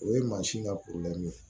O ye mansin ka ye